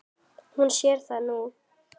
Hún sér það nú.